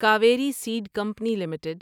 Kaveri seed company limited